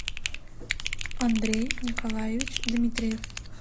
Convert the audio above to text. андрей николаевич дмитриев